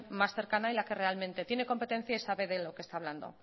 más cercana y la que realmente tiene competencias y sabe de lo que está hablando